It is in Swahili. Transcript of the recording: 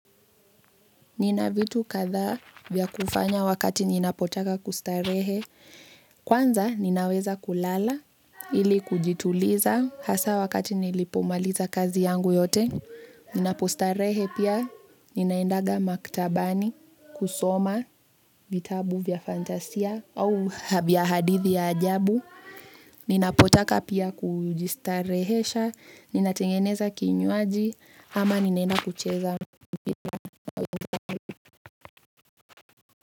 Nina vitu kadhaa vya kufanya wakati ninapotaka kustarehe. Kwanza ninaweza kulala ili kujituliza hasa wakati nilipomaliza kazi yangu yote. Ninapostarehe pia ninaendanga maktabani, kusoma, vitabu vya fantasia au vya hadithi ya ajabu. Ninapotaka pia kujistarehesha, ninatengeneza kinywaji ama ninaenda kucheza.